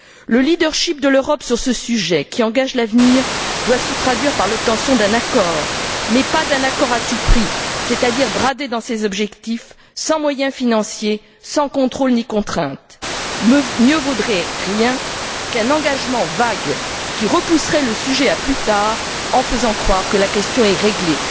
Le leadership de l'Europe sur ce sujet qui engage l'avenir doit se traduire par l'obtention d'un accord, mais pas d'un accord à tout prix, c'est à dire bradé dans ses objectifs, sans moyens financiers, sans contrôle ni contrainte. Mieux vaudrait rien du tout plutôt qu'un engagement vague qui repousserait le sujet à plus tard en faisant croire que la question est réglée.